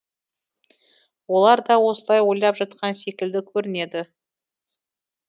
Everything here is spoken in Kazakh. олар да осылай ойлап жатқан секілді көрінеді